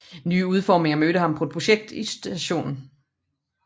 Nye udfordringer mødte ham på et projekt i St